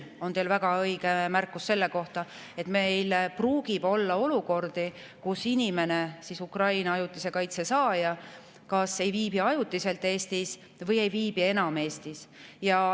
Küll on teil väga õige märkus selle kohta, et pruugib olla olukordi, kus inimene, Ukrainast pärit ajutise kaitse saaja, kas ei viibi ajutiselt Eestis või ei viibi enam üldse Eestis.